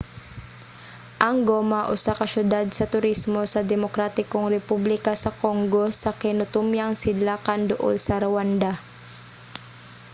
ang goma usa ka syudad sa turismo sa demokratikong republika sa congo sa kinatumyang sidlakan duol sa rwanda